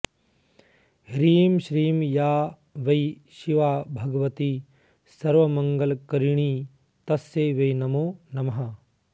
ह्रीं श्रीं या वै शिवा भगवती सर्वमङ्गलकरिणी तस्यै वै नमो नमः